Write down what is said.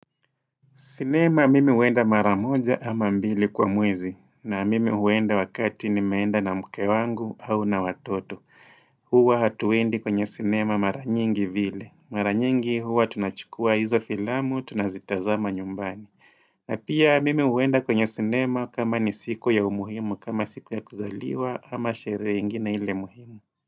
Sinema mimi huenda maramoja ama mbili kwa mwezi. Na mimi huenda wakati nimeenda na mke wangu au na watoto. Huwa hatuendi kwenye sinema mara nyingi vile. Maranyingi huwa tunachukua hizo filamu, tunazitazama nyumbani. Na pia mimi huenda kwenye sinema kama ni siku ya umuhimu, kama siku ya kuzaliwa, ama sherehe ingine ile muhimu.